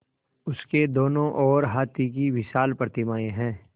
उसके दोनों ओर हाथी की विशाल प्रतिमाएँ हैं